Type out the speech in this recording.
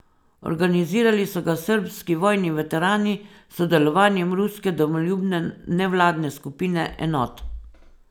Organizirali so ga srbski vojni veterani s sodelovanjem ruske domoljubne nevladne skupine Enot.